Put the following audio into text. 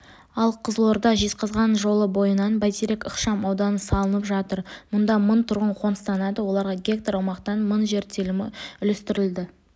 ал қызылорда-жезказған жолы бойынан бәйтерек ықшам ауданы салынып жатыр мұнда мың тұрғын қоныстанады оларға гектар аумақтан мың жер телімі үлестірілді